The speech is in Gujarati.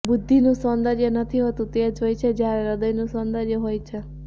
બુદ્ધિનું સૌંદર્ય નથી હોતું તે જ હોય છે જ્યારે હૃદયનું સૌંદર્ય હોય છે